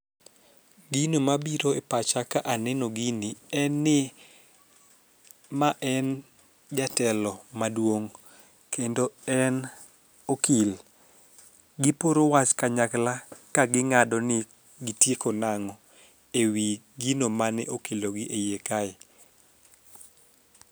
gino mabiro e pacha ka aneno gini en ni ma en jatelo maduong kendo en okil giporo wach kanyakla ka ging'ado ni gitieko nang'o ewi gino mane okelo gi e iye kae